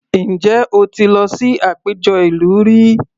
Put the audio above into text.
Ǹjẹ́ o ti lọ sí àpéjọ ìlú rí?